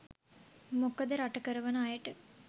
මොකද රට කරවන අයට